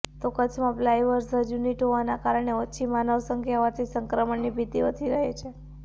તો કચ્છમાં pulverise unit હોવાના કારણે ઓછી માનવ સંખ્યા હોવાથી સંક્રમણની ભીતિ ઓછી રહે છે